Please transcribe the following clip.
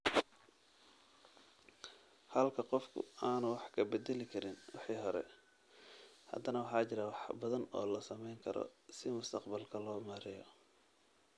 Halka qofku aanu wax ka beddeli karin wixii hore, haddana waxa jira wax badan oo la samayn karo si mustaqbalka loo maareeyo.